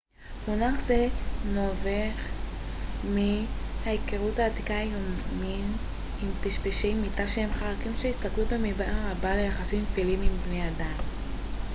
מונח זה נובע מן ההיכרות עתיקת היומין עם פשפשי מיטה שהם חרקים שהסתגלו במידה רבה ליחסים טפיליים עם בני אדם